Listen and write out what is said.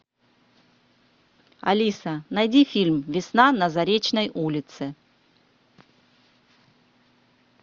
алиса найди фильм весна на заречной улице